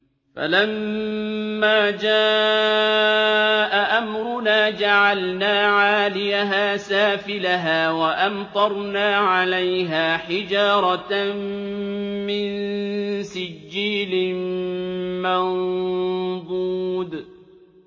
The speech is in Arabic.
فَلَمَّا جَاءَ أَمْرُنَا جَعَلْنَا عَالِيَهَا سَافِلَهَا وَأَمْطَرْنَا عَلَيْهَا حِجَارَةً مِّن سِجِّيلٍ مَّنضُودٍ